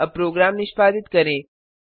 अब प्रोग्राम निष्पादित करें